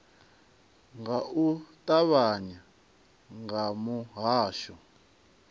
nga u ṱavhanya kha muhasho